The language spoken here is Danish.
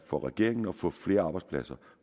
for regeringen at få flere arbejdspladser